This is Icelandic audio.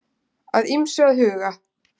Að ýmsu að huga